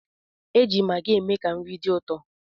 E ji magị eme ka nri dị ụtọ.